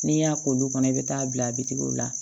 N'i y'a k'olu kɔnɔ i bɛ taa bila biriw la